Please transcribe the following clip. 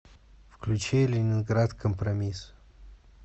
включи ленинград компромисс